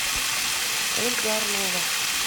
ольга орлова